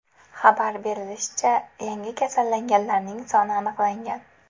Xabar berilishicha, yangi kasallanganlarning aniqlangan.